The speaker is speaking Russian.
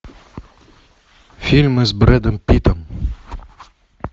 фильмы с брэдом питтом